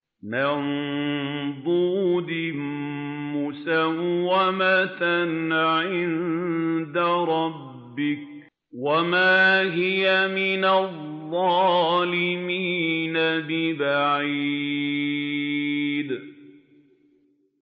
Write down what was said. مُّسَوَّمَةً عِندَ رَبِّكَ ۖ وَمَا هِيَ مِنَ الظَّالِمِينَ بِبَعِيدٍ